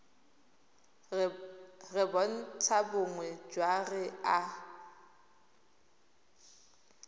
re bontlhabongwe jwa re a